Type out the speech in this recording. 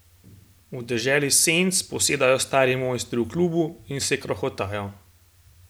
V deželi senc posedajo stari mojstri v klubu in se krohotajo.